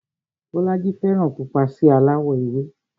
Bọ́lájí fẹ́ràn pupa sí aláwọ̀ ewé